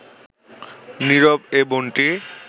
নীরব এ বনটি